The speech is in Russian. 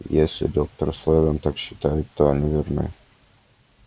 если доктор сэлдон так считает то они верны